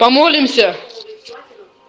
помолимся